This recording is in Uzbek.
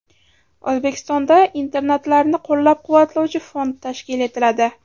O‘zbekistonda internatlarni qo‘llab-quvvatlovchi fond tashkil etiladi.